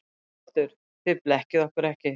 ÞORVALDUR: Þið blekkið okkur ekki.